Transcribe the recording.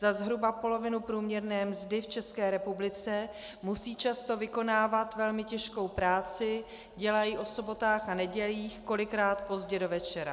Za zhruba polovinu průměrné mzdy v České republice musí často vykonávat velmi těžkou práci, dělají o sobotách a nedělích, kolikrát pozdě do večera.